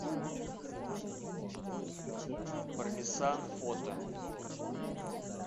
пармезан фото